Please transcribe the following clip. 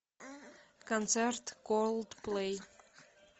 концерт колдплей